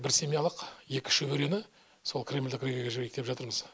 бір семьялық екі шөберені сол кремльдік іргеге жіберейік деп жатырмыз